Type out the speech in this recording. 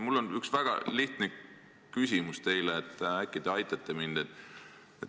Mul on üks väga lihtne küsimus, äkki te aitate mind.